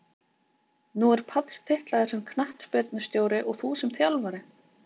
Nú er Páll titlaður sem knattspyrnustjóri og þú sem þjálfari?